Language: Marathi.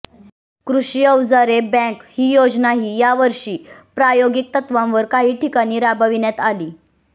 कृषी औजारे बँक ही योजनाही यावर्षी प्रायोगिक तत्वावर काही ठिकाणी राबविण्यात आली